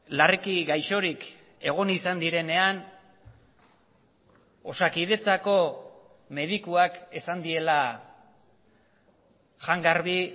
larriki gaixorik egon izan direnean osakidetzako medikuak esan diela jan garbi